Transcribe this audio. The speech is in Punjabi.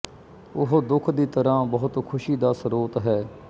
ਉਹ ਦੁੱਖ ਦੀ ਤਰ੍ਹਾਂ ਬਹੁਤ ਖੁਸ਼ੀ ਦਾ ਸਰੋਤ ਹੈ